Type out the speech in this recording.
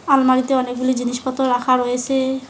আলমারিতে অনেকগুলি জিনিসপত্র রাখা রয়েসে।